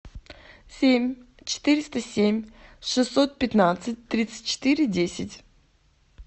семь четыреста семь шестьсот пятнадцать тридцать четыре десять